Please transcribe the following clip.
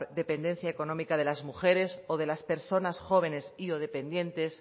dependencia económica de las mujeres o de las personas y o dependientes